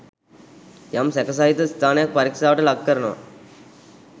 යම් සැකසහිත ස්ථානයක් පරික්ෂාවට ලක් කරනවා.